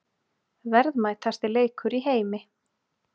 Verðmætasti leikur í heimi